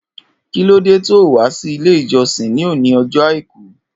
Kilòdé tóó wà si ilé ijọsin ni óni ọjọ áikù?